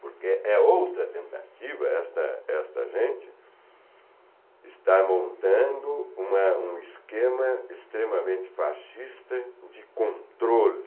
Porque é outra tentativa, esta esta gente está montando uma um esquema extremamente fascista de controle.